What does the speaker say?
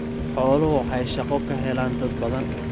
Xooluhu waxay shaqo ka helaan dad badan.